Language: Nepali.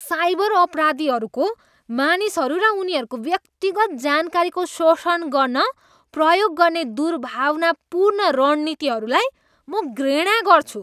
साइबर अपराधीहरूको मानिसहरू र उनीहरूको व्यक्तिगत जानकारीको शोषण गर्न प्रयोग गर्ने दुर्भावनापूर्ण रणनीतिहरूलाई म घृणा गर्छु।